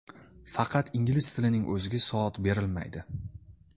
Faqat ingliz tilining o‘ziga soat berilmaydi.